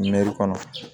kɔnɔ